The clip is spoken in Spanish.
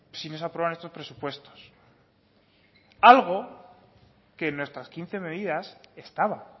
si no se aprueban estos presupuestos algo que en nuestras quince medidas estaba